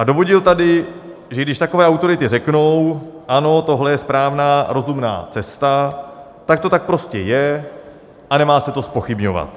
A dovodil tady, že když takové autority řeknou "ano, tohle je správná, rozumná cesta", tak to tak prostě je a nemá se to zpochybňovat.